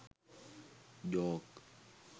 joke